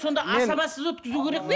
сонда асабасыз өткізу керек пе